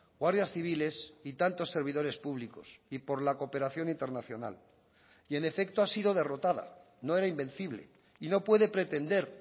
guardias civiles y tantos servidores públicos y por la cooperación internacional y en efecto ha sido derrotada no era invencible y no puede pretender